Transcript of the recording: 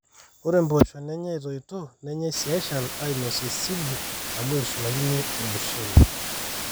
ore impoosho nenyai etoito nenyai sii eshal aainosie sibu aashu eitushulakini ormushele